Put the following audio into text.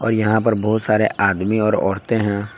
और यहां पर बहुत सारे आदमी और औरतें हैं।